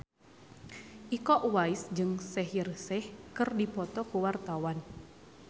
Iko Uwais jeung Shaheer Sheikh keur dipoto ku wartawan